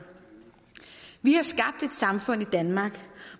vi har skabt et samfund i danmark